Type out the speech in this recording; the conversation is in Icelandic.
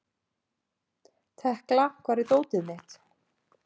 Tekla, hvar er dótið mitt?